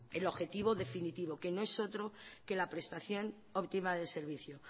el objetivo definitivo que no es otro que la prestación optima del servicio